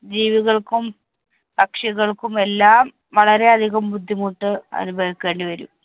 ജീവികൾക്കും, പക്ഷികൾക്കും എല്ലാം വളരെ അധികം ബുദ്ധിമുട്ട് അനുഭവിക്കേണ്ടിവരും.